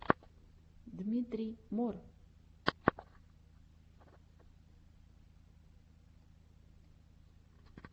дмитрий мор